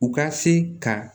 U ka se ka